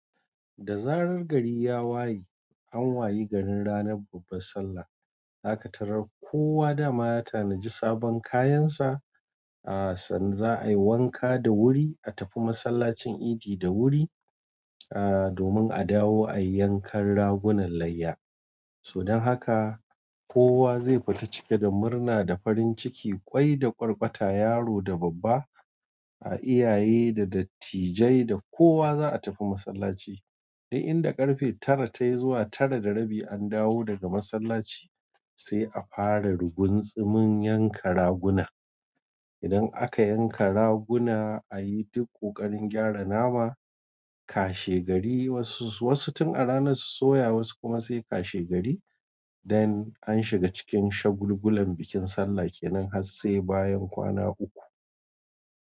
Da zaran gari ya waye, an waye gari ranar babban sallah. Zaka tarar kowa dama ya tanadi sabon kayan sa, san za'a yi wanka da wuri, a tafi masallacin idi da wuri, aaah domin a dawo ayi yankan ragunan layya. To dan haka kowa zai fita cike da murna da farin ciki, kwai da kwarkwata, yaro da babba, a iyaye da dattijai da kowa za'a tafi masallaci. Dai inda ƙarfe tara tayi zuwa tara da rabi an dawo daga masallaci sai a fara ruguntsumin yanka raguna idan aka yanka raguna ayi duk ƙoƙarin gyara nama, washe gari wasu tun a rana su soya wasu kuma sai washe gari. Dan an shiga cikin shagulgulan bikin sallah kenan har sai bayan kwana uku.